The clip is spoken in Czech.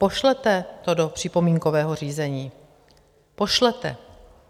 Pošlete to do připomínkového řízení, pošlete!